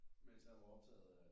Mens han var optaget af øh